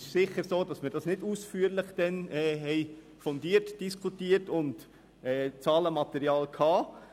Es ist sicher so, dass wir es damals nicht ausführlich diskutierten und Zahlenmaterial hatten.